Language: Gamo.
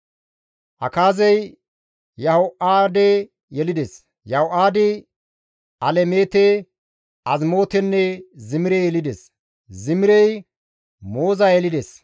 Akaazey Yaho7aade yelides; Yaho7aadi Alemeete, Azimootenne Zimire yelides; Zimirey Mooza yelides;